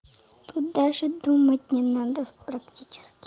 тут даже думать не надо практически